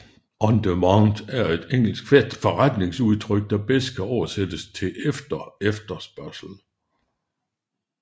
On demand er et engelsk forretningsudtryk der bedst kan oversættes til efter efterspørgsel